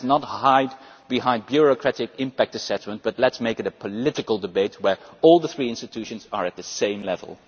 Let us not hide behind bureaucratic impact assessments, and let us make it a political debate where all three institutions are at the same level.